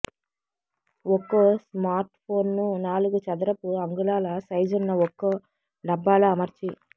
ఒక్కో స్మార్ట్ఫోన్ను నాలుగు చదరపు అంగుళాల సైజున్న ఒక్కో డబ్బాలో అమర్చి